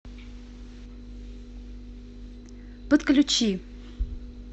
подключи